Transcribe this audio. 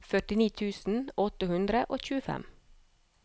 førtini tusen åtte hundre og tjuefem